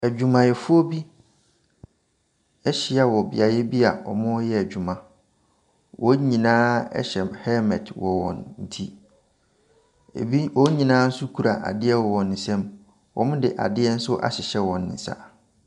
Adwumayɛfoɔ bi ɛhyia wɔ beaeɛ bi wɔreyɛ adwuma. Wɔn nyinaa hyɛ helmɛt wɔ wɔn ti, wɔn nyinaa nso kura adeɛ wɔ wɔn nsam. Wɔde adeɛ nso ahyehyɛ wɔn nsa.